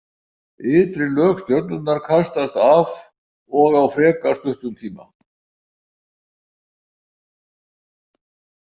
Ytri lög stjörnunnar kastast af og á frekar stuttum tíma.